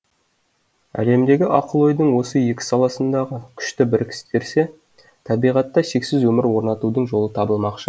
әлемдегі ақыл ойдың осы екі саласындағы күшті біріктірсе табиғатта шексіз өмір орнатудың жолы табылмақшы